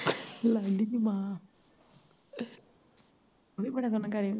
ਲਾਡੀ ਦੀ ਮਾਂ ਨਿ ਬੜਾ ਸੋਹਣਾ ਕਰੀਂ